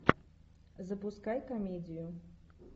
запускай комедию